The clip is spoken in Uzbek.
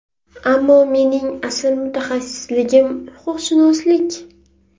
Ammo mening asl mutaxassisligim – huquqshunoslik.